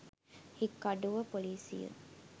හික්කඩුව ‍පොලිසිය